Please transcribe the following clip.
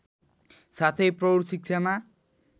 साथै प्रौढ शिक्षामा